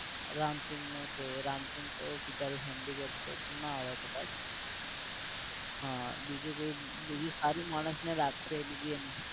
રામસિંગ નું છે, રામસિંગ તો બિચારો handicap છે તો ના આવે કદાચ. હ બીજું કોઈ બીજું સારું માણસ ને રાખે